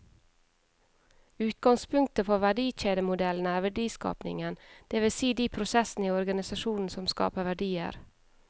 Utgangspunktet for verdikjedemodellen er verdiskapingen, det vil si de prosessene i organisasjonen som skaper verdier.